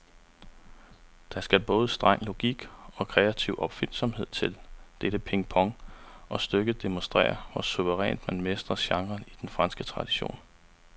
Der skal både streng logik og kreativ opfindsomhed til dette pingpong, og stykket demonstrerer, hvor suverænt man mestrer genren i den franske tradition.